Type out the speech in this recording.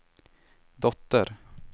dotter